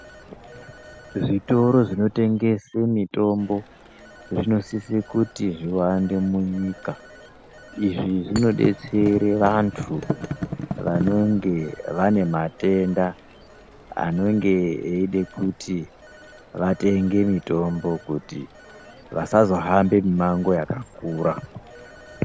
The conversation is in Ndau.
Zvitoro zvinotengese mitombo, zvinosise kuti zviwande munyika. Izvi zvinodetsere vantu, vanonge vane matenda, anonge eide kuti vatenge mitombo kuti, vasazohambe mimango yakakura.